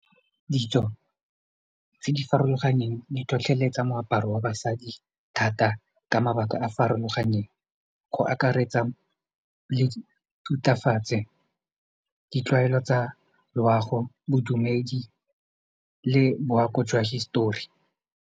Ditso tse di farologaneng di tlhotlheletsa moaparo wa basadi thata ka mabaka a farologaneng go akaretsa le thutafatse ditlwaelo tsa loago bodumedi le boako jwa hisetori.